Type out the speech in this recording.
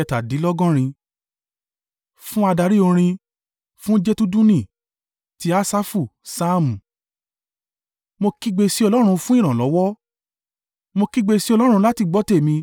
Fún adarí orin. Fún Jedutuni. Ti Asafu. Saamu. Mó kígbe sí Ọlọ́run fún ìrànlọ́wọ́; mo kígbe sí Ọlọ́run láti gbọ́ tèmi.